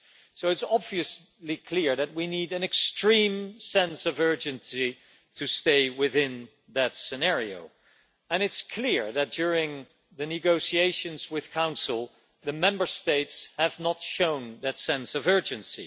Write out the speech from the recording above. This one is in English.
So it is obviously clear that we need an extreme sense of urgency to stay within that scenario, and it's clear that during the negotiations with the Council, the Member States have not shown that sense of urgency.